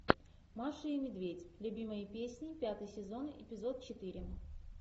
маша и медведь любимые песни пятый сезон эпизод четыре